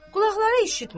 Qulaqları eşitmir.